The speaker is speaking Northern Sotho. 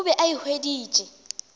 o be a e hweditše